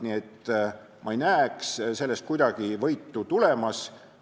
Nii et ma ei näe kuidagi võitu tulemas.